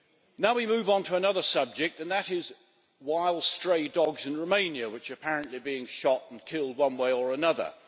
Now we move on to another subject, and that is wild stray dogs in Romania, which are apparently being shot and killed one way or another.